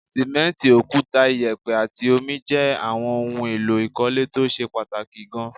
Sìmẹ́ǹtì, òkúta, ìyẹ̀pẹ̀ àti omi jẹ́ àwọn ohun èlò ìkọ́lé tó ṣe pàtàkì gaan